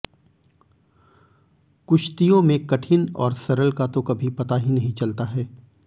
कुश्तियों में कठिन और सरल का तो कभी पता ही नही चलता है